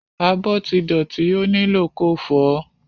Abọ́ ti dọ̀tí ó nílò ko fọ̀ọ́.